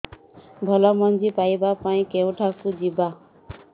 ଭଲ ମଞ୍ଜି ପାଇବା ପାଇଁ କେଉଁଠାକୁ ଯିବା